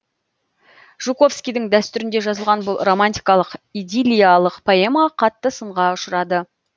жуковскийдің дәстүрінде жазылған бұл романтикалық идиллиялық поэма қатты сынға ұшырады